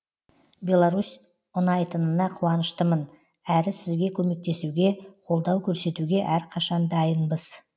беларусь ұнайтынына қуаныштымын әрі сізге көмектесуге қолдау көрсетуге әрқашан дайынбыз